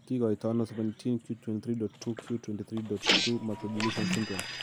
Kikoitoono 17q23.2q23.2 microdeletion syndrome?